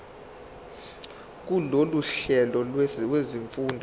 kulolu hlelo lwezifundo